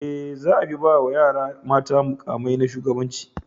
E, za a fi ba wa yara mata muƙamai na shugabanci.